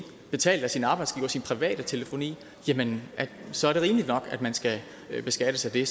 betalt af sin arbejdsgiver sin private telefoni så er det rimeligt nok at man skal beskattes af det